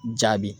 Jaabi